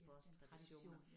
Det en tradition ja